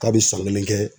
K'a bɛ san kelen kɛ